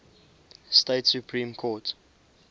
state supreme court